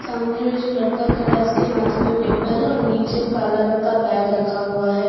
सामने में जो लड़का खड़ा है उसके हाथ में पेपर है और नीचे काला रंग का बैग रखा हुआ है।